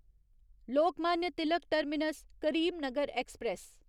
Lokmanya Tilak terminus Karimnagar express